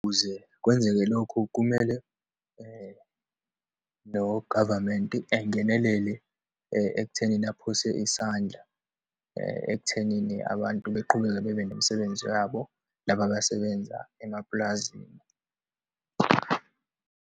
Ukuze kwenzeke lokhu kumele no-government-i angenelele ekuthenini aphose isandla, ekuthenini abantu beqhubeke bebe nemsebenzi yabo, laba abasebenza emapulazini.